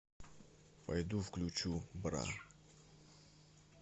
пойду включу бра